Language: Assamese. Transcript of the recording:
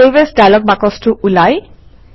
চেভ এএছ ডায়লগ বাকচটো ওলায়